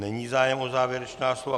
Není zájem o závěrečná slova.